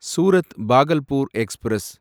Surat Bhagalpur express